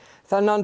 þennan